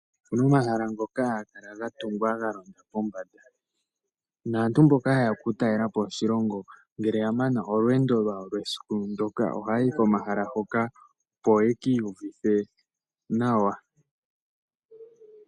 Opuna omahala ngoka haga kala ga tungwa galonda pombada, naantu mboka hayeya oku talelapo oshilongo ngele ya mana olweendo lwawo lwesiku ndoka oha ya yi komahala hoka, opo ye ki iyuvithe nawa.